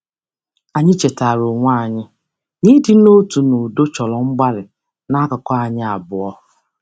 Anyị chetaara onwe anyị na ịdị n'otu n'udo chọrọ mgbalị n'akụkụ anyi abụọ.